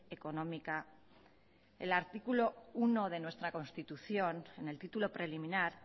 económica el artículo uno de nuestra constitución en el título preliminar